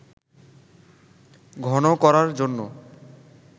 ঘন করার জন্য